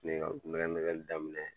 Ne ye ka kulon kɛ nɛgɛli daminɛ